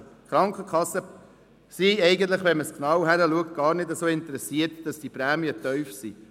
Also: Die Krankenkassen sind eigentlich – wenn man genau hinschaut – gar nicht so interessiert daran, dass die Prämien tief sind.